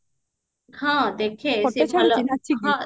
ହଁ ଦେଖେ ସିଏ ଭଲ